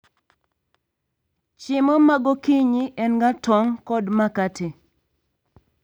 Chiemo magokinyi en ga tong' kod makate